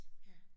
Ja